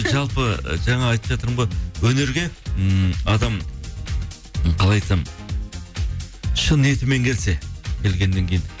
жалпы жаңа айтып жатырмын ғой өнерге ммм адам қалай айтсам шын ниетімен келсе келгеннен кейін